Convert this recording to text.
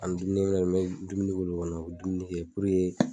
puruke